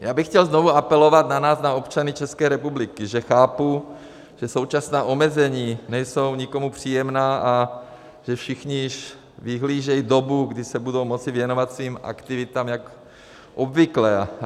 Já bych chtěl znovu apelovat na nás, na občany České republiky, že chápu, že současná omezení nejsou nikomu příjemná a že všichni již vyhlížejí dobu, kdy se budou moci věnovat svým aktivitám jako obvykle.